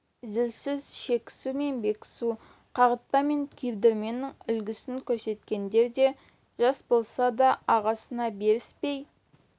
зілсіз шекісу мен бекісу қағытпа мен күйдірменің үлгісін көрсеткендері де жас болса да ағасына беріспей